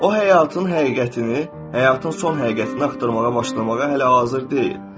O həyatın həqiqətini, həyatın son həqiqətini axtarmağa başlamağa hələ hazır deyil.